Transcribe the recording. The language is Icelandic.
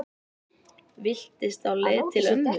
Villtist á leið til mömmu